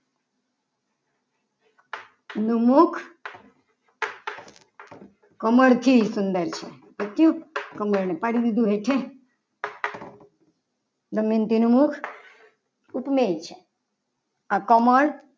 નું મુખ કમળથી સુંદર છે. કમળને પાડી દીધું હેઠે દમયંતી નું મુખ ઉપમેય છે આ કમળ